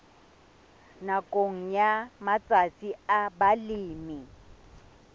nakong ya matsatsi a balemi